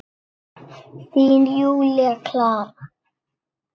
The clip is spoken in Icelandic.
Þín, Júlía Klara.